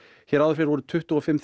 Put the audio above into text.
hér áður fyrr voru tuttugu og fimm